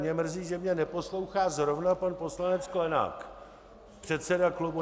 Mně mrzí, že mě neposlouchá zrovna pan poslanec Sklenák, předseda klubu.